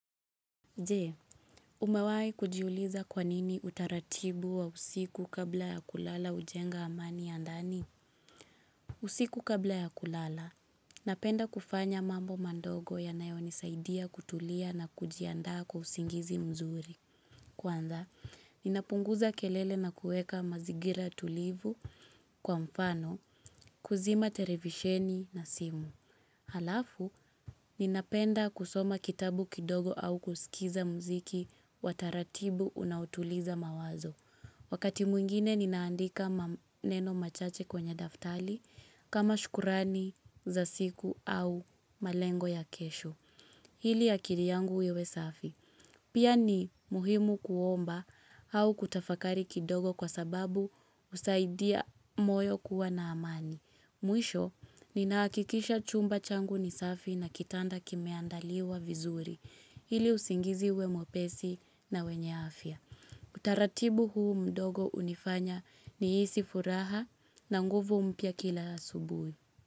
Jee, umewai kujiuliza kwa nini utaratibu wa usiku kabla ya kulala ujenga amani ya ndani? Usiku kabla ya kulala, napenda kufanya mambo mandogo yanayo nisaidia kutulia na kujianda kwa usingizi mzuri. Kwanza, ninapunguza kelele na kueka mazingira tulivu kwa mfano, kuzima televisheni na simu. Halafu, ninapenda kusoma kitabu kidogo au kusikiza mziki wa taratibu unaotuliza mawazo. Wakati mwingine, ninaandika neno machache kwenye daftali kama shukurani za siku au malengo ya kesho. Hili akiri yangu iwe safi. Pia ni muhimu kuomba au kutafakari kidogo kwa sababu usaidia moyo kuwa na amani. Mwisho, ninahakikisha chumba changu ni safi na kitanda kimeandaliwa vizuri, hili usingizi iwe mwepesi na wenye afya. Utaratibu huu mdogo unifanya nihisi furaha na nguvu mpya kila asubuhi.